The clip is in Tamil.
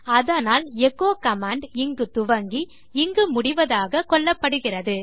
அதனால் எச்சோ கமாண்ட் இங்கு துவங்கி இங்கு முடிவதாக கொள்ளப்படுகிறது